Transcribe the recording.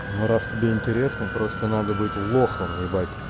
ну раз тебе интересно просто надо быть лохом ебать